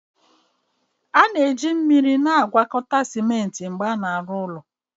A na-eji mmiri na-agwakọta simenti mgbe a na-arụ ụlọ